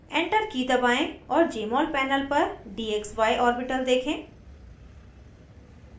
enter की दबाएं और jmol panel पर dxy orbital देखें